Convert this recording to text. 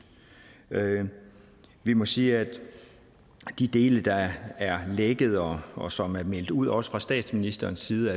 vi må sige at de dele der er lækket og og som er meldt ud også fra statsministerens side